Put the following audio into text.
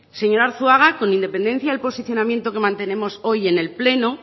señor arzuaga con independencia del posicionamiento que mantenemos hoy en el pleno